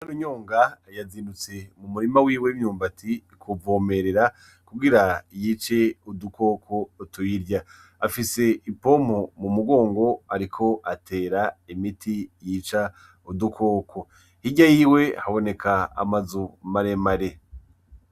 Inarunyonga yazindutse mumurima wiwe w'imyumbati kuwuvomerera kugira yice udukoko tuyirya afise ipompo mumugongo ariko atera imiti yica udukoko hirya yiwe haboneka amazu maremare.